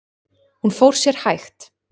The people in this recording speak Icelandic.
Hún fór sér hægt.